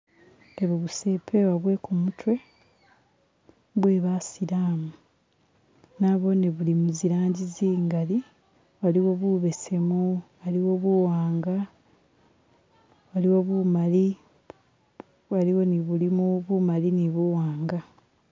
Ebu busepewo bwe kumutwe bwe basilamu , naboone buli muzirangi zi'ngali, waliwo bubesemu , aliwo buwanga, waliwo bumali , waliwo ne bulimo bumali ne buwanga